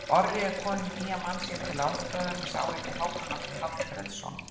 Orri er kominn með nýjan mann sér til aðstoðar, en sá heitir Hákon Atli Hallfreðsson.